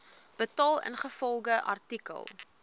betaal ingevolge artikel